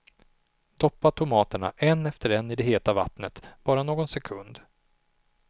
Doppa tomaterna en efter en i det heta vattnet, bara någon sekund.